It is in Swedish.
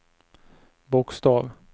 bokstav